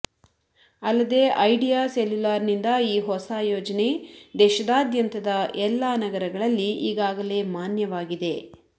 ಅಲ್ಲದೆ ಐಡಿಯಾ ಸೆಲ್ಯುಲಾರ್ನಿಂದ ಈ ಹೊಸ ಯೋಜನೆ ದೇಶದಾದ್ಯಂತದ ಎಲ್ಲಾ ನಗರಗಳಲ್ಲಿ ಈಗಾಗಲೇ ಮಾನ್ಯವಾಗಿದೆ